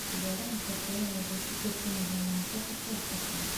Beeraha shirkadaha waxay ku tiirsan yihiin monocultures waxtarka.